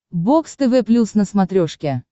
бокс тв плюс на смотрешке